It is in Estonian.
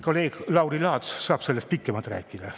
Kolleeg Lauri Laats saab sellest pikemalt rääkida.